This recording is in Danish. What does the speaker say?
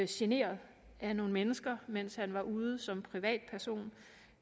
generet af nogle mennesker mens han var ude som privatperson